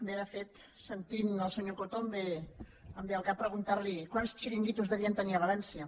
bé de fet sentint el senyor coto em ve al cap preguntar li quants xiringuitos devien tenir a valència